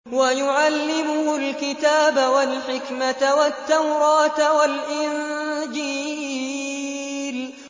وَيُعَلِّمُهُ الْكِتَابَ وَالْحِكْمَةَ وَالتَّوْرَاةَ وَالْإِنجِيلَ